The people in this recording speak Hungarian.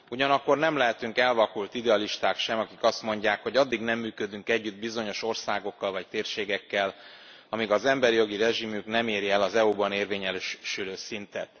Ugyanakkor nem lehetünk elvakult idealisták sem, akik azt mondják, hogy addig nem működünk együtt bizonyos országokkal vagy térségekkel, ameddig az emberi jogi rezsimjük nem éri el az EU ban érvényesülő szintet.